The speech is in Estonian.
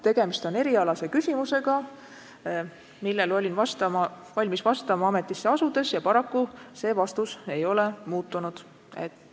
Tegemist on erialase küsimusega, millele olin valmis vastama ametisse asudes, ja paraku see vastus ei ole muutunud.